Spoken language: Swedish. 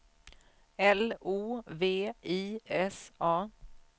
L O V I S A